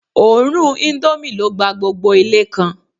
Òórùn indomie ló gba gbogbo Ilé kan